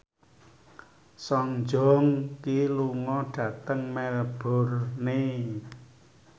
Song Joong Ki lunga dhateng Melbourne